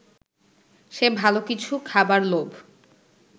সে ভালো কিছু খাবার লোভ